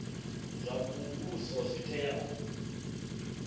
zwa muvhuso zwi tea u